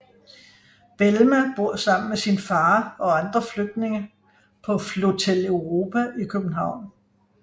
Belma bor sammen med sin far og andre flygtninge på Flotel Europa i København